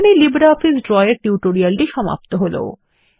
এখানেই LibreOffice Draw এর টিউটোরিয়ালটি সমাপ্ত হল